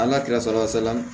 An ka kɛrɛfɛla salon